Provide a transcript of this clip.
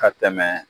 Ka tɛmɛ